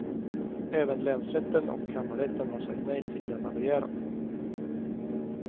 Även länsrätten och kammarrätten har sagt nej till denna begäran.